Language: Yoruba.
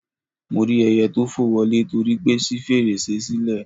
Mo rí ẹyẹ tó fò wọlé torípé ṣí fèrèsé sílẹ̀